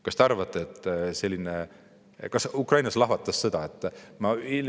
" Kas te arvate, et Ukrainas lahvatas sõda?